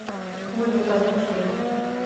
ольга казначеева